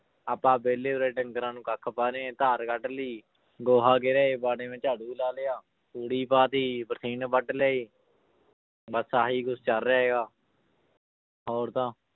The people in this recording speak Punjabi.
ਆਪਾਂ ਵਿਹਲੇ ਉਰੇ ਡੰਗਰਾਂ ਨੂੰ ਕੱਖ ਪਾ ਰਹੇ ਹਾਂ ਧਾਰ ਕੱਢ ਲਈ ਗੋਹਾ ਗਿਰੇ ਵਾੜੇ ਮੇ ਝਾੜੂ ਲਾ ਲਿਆ, ਤੂੜੀ ਪਾ ਦਿੱਤੀ ਬਰਸੀਨ ਵੱਢ ਲਈ ਬਸ ਆਹੀ ਕੁਛ ਚੱਲ ਰਿਹਾ ਹੈਗਾ ਹੋਰ ਤਾਂ